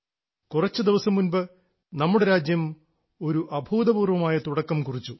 കുറച്ചുദിവസം മുൻപ് നമ്മുടെ രാജ്യം ഒരു അഭൂതപൂർവ്വമായ തുടക്കം കുറിച്ചു